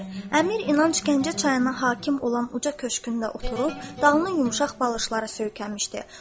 Əmir İnanc Gəncə çayına hakim olan uca köşkümdə oturub, dalını yumşaq balışlara söykəmişdi.